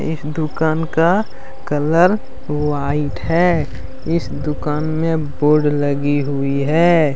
दुकान का colour white है इस दुकान में बोर्ड लगी हुई है।